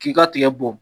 K'i ka tigɛ bɔ